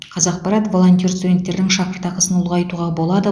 қазақпарат волонтер студенттердің шәкіртақысын ұлғайтуға болады